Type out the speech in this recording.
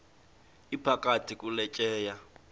iphakathi kule tyeya